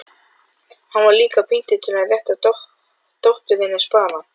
Bárujárnsþökin sem hvítt rifflað flauel uns elskendur vakna